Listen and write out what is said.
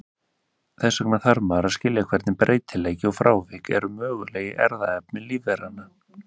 Þess vegna þarf maður að skilja hvernig breytileiki og frávik eru möguleg í erfðaefni lífveranna.